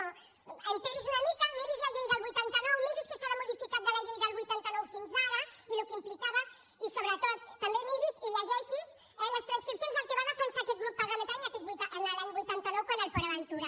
assabenti’s una mica miri’s la llei del vuitanta nou miri’s què s’ha modificat de la llei del vuitanta nou fins ara i el que implicava i sobretot també miri’s i llegeixi’s les transcripcions el que va defensar aquest grup parla·mentari l’any vuitanta nou quant al port aventura